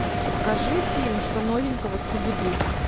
покажи фильм что новенького скуби ду